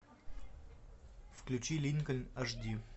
включи линкольн аш ди